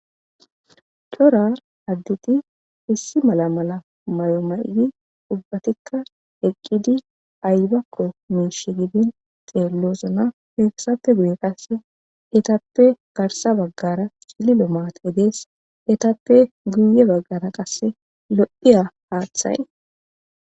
Cora additi issi mala mala may'omaydi ubbatikka eqqidi aybakko miish gidin xeellosna heeksappe guye qasse etappe garsa baggara cililo maatey dees etappe guye baggara qasse lo'iya haaththay.